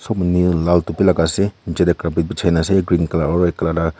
laga ase niche te carpet bichai na ase green colour or red colour ta.